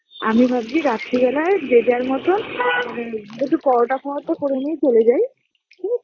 আমি ভাবছি রাত্রি বেলায় যে যার মতন ম একটু পরোটা ফরোটা করে নিয়ে চলে যাই ঠিক আছে